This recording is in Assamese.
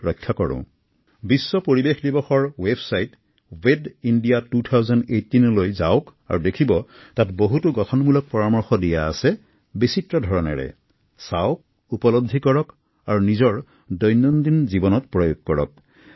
আহক আমি সকলোৱে বিশ্ব পৰিৱেশ দিৱসৰ ৱেবছাইট ৱেবইণ্ডিয়া ২০১৮ দৰ্শন কৰো আৰু দৈনন্দিন জীৱনত পালন কৰিবলগীয়া বিভিন্ন পৰামৰ্শসমূহৰ জ্ঞান লাভ কৰো